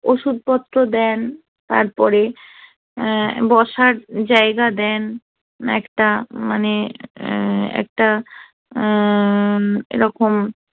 ওষুধপত্র দেন তারপরে অ্যা বসার জায়গা দেন না একটা মানে একটা অ্যা এরকম